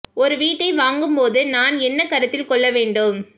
ஒரு வீட்டை வாங்கும் போது நான் என்ன கருத்தில் கொள்ள வேண்டும்